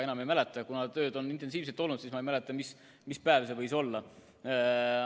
Aga kuna tööd on väga palju olnud, siis ma ei mäleta, mis päev see võis olla.